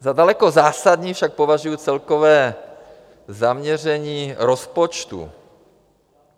Za daleko zásadnější však považuji celkové zaměření rozpočtu.